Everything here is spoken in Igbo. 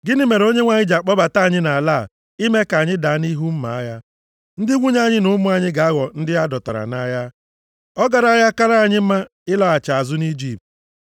Gịnị mere Onyenwe anyị ji akpọbata anyị nʼala a ime ka anyị daa nʼihu mma agha. Ndị nwunye anyị na ụmụ anyị ga-aghọ ndị a dọtara nʼagha. Ọ garaghị akara anyị mma ịlaghachi azụ nʼIjipt?”